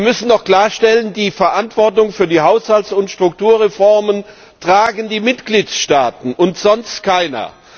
Wir müssen doch klarstellen, die Verantwortung für die Haushalts und Strukturreformen tragen die Mitgliedstaaten und sonst keiner.